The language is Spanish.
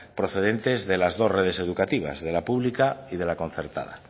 procedentes de las dos redes educativas de la pública y de la concertada